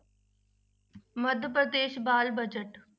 ਮੱਧ ਪ੍ਰਦੇਸ ਬਾਲ budget